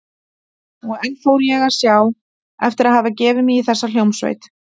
Og enn fór ég að sjá eftir að hafa gefið mig í þessa hljómsveit.